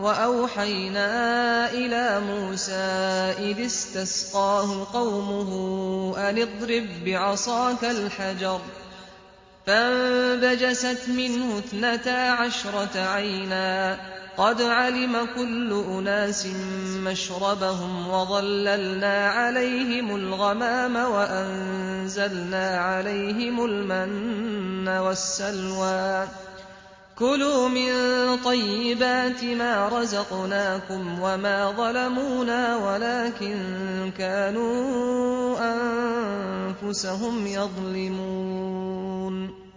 وَأَوْحَيْنَا إِلَىٰ مُوسَىٰ إِذِ اسْتَسْقَاهُ قَوْمُهُ أَنِ اضْرِب بِّعَصَاكَ الْحَجَرَ ۖ فَانبَجَسَتْ مِنْهُ اثْنَتَا عَشْرَةَ عَيْنًا ۖ قَدْ عَلِمَ كُلُّ أُنَاسٍ مَّشْرَبَهُمْ ۚ وَظَلَّلْنَا عَلَيْهِمُ الْغَمَامَ وَأَنزَلْنَا عَلَيْهِمُ الْمَنَّ وَالسَّلْوَىٰ ۖ كُلُوا مِن طَيِّبَاتِ مَا رَزَقْنَاكُمْ ۚ وَمَا ظَلَمُونَا وَلَٰكِن كَانُوا أَنفُسَهُمْ يَظْلِمُونَ